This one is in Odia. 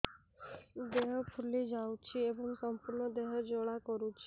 ଦେହ ଫୁଲି ଯାଉଛି ଏବଂ ସମ୍ପୂର୍ଣ୍ଣ ଦେହ ଜ୍ୱାଳା କରୁଛି